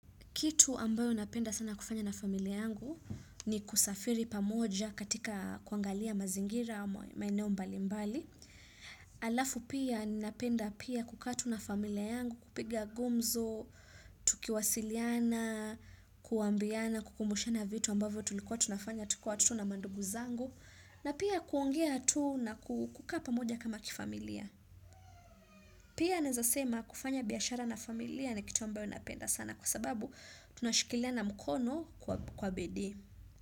Kitu ambayo napenda sana kufanya na familia yangu ni kusafiri pamoja katika kuangalia mazingira ya maeneo mbali mbali. Alafu pia ninapenda pia kukaa tu na familia yangu, kupiga gumzo, tukiwasiliana, kuambiana, kukumushana vitu ambayo tulikuwa tunafanya tukiwa watoto na mandugu zangu. Na pia kuongea tu na kukaa pamoja kama kifamilia. Pia naeza sema kufanya biashara na familia ni kitu ambayo napenda sana kwa sababu tunashikiliana mkono kwa bidii.